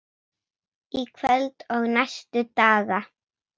Í kvöld og næstu daga?